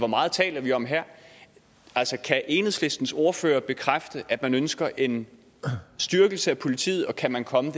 meget taler vi om her kan enhedslistens ordfører bekræfte at man ønsker en styrkelse af politiet og kan man komme